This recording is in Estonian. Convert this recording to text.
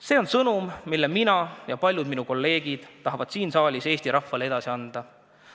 See on sõnum, mille mina ja paljud minu kolleegid tahavad siin saalis Eesti rahvale edasi anda.